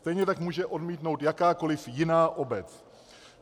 Stejně tak může odmítnout jakákoliv jiná obec.